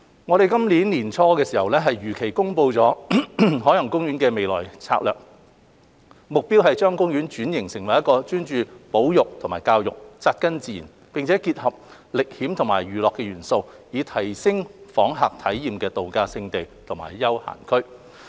我們於今年年初如期公布海洋公園的未來策略，目標是將公園轉型成為專注於保育和教育、扎根自然，並結合歷險與娛樂元素，以提升訪客體驗的度假勝地和休閒區。